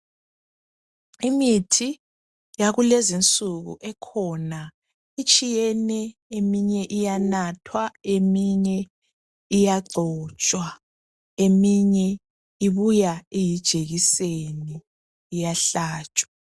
Imithi yakulezi insuku ekhona itshiyene, eminye iyanathwa, eminye iyagcotshwa njalo eminye ibuya iyijekiseni iyahlatshwa.